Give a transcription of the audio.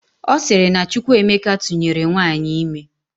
Ọ sịrị na Chukwuemeka tụnyere nwaanyị ime